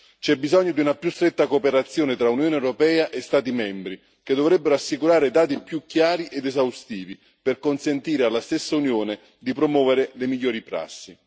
C'è bisogno di una più stretta cooperazione tra Unione europea e Stati membri, che dovrebbero assicurare dati più chiari ed esaustivi per consentire alla stessa Unione di promuovere le migliori prassi.